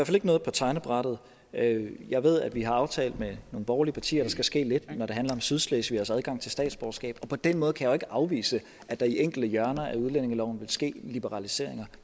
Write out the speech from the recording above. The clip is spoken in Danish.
fald ikke noget på tegnebrættet jeg ved at vi har aftalt med nogle borgerlige partier at der skal ske lidt når det handler om sydslesvigeres adgang til statsborgerskab og på den måde kan jeg jo ikke afvise at der i enkelte hjørner af udlændingeloven vil ske liberaliseringer